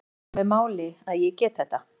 Það skiptir mig máli að ég get þetta.